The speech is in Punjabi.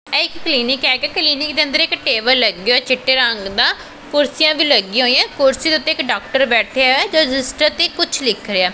ਇਹ ਇੱਕ ਕਲੀਨਿਕ ਹੈ ਤੇ ਕਲਿਨਿਕ ਦੇ ਅੰਦਰ ਇੱਕ ਟੇਬਲ ਲੱਗੇ ਹੋਏ ਚਿੱਟੇ ਰੰਗ ਦਾ ਕੁਰਸੀਆਂ ਵੀ ਲੱਗਿਆਂ ਹੋਈਆਂ ਕੁਰਸੀਆਂ ਦੇ ਉੱਤੇ ਇੱਕ ਡਾਕਟਰ ਬੈਠਿਆ ਹੋਇਐ ਜੋ ਰਜਿਸਟਰ ਤੇ ਕੁਛ ਲਿਖ ਰਿਹੈ।